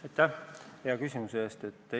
Aitäh hea küsimuse eest!